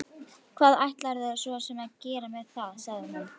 Hvað ætlarðu svo sem að gera með það, sagði hún.